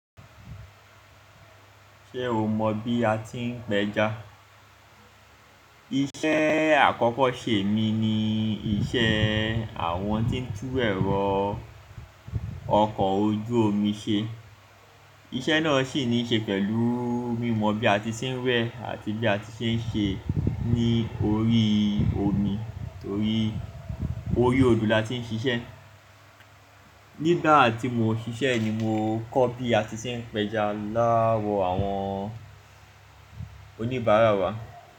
Ṣé o mọ bí a ti ń pẹja? Iṣẹ́ àkọ́kọ́ ṣe mi ni iṣẹ́ àwọn tí ń tú ẹ̀rọ ọkọ̀ ojú omi ṣe. Iṣẹ́ náà ṣì ní í ṣe pẹ̀lú mímọ bí a ti ń wẹ àti bí a ti ń ṣe n ṣe ní orí omi torí orí odò la ti ń ṣiṣẹ́. Nígbà tí mo ṣiṣẹ́ ni mo kọ́ bí a ti ń pẹja lowọ̀ àwọn oníbàárà wa.